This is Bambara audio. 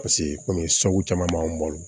Paseke komi so caman b'an bolo